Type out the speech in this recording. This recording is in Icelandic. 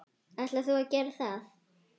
Ætlar þú að gera það?